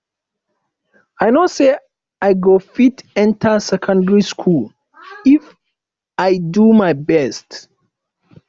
i no say i go fit enter secondary school if i do my best